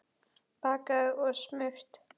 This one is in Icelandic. Bakað og smurt.